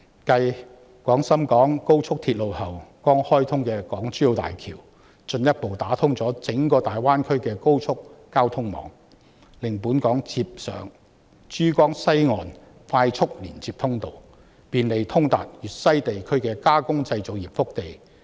繼廣深港高速鐵路後，剛開通的港珠澳大橋進一步啟動整個大灣區的高速交通網，令本港接上珠江西岸的快速連接通道，便利通達粵西地區的加工製造業腹地。